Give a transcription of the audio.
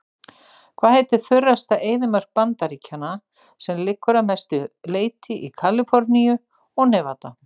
Hvað heitir þurrasta eyðimörk Bandaríkjanna sem liggur að mestu leyti í Kaliforníu og Nevada?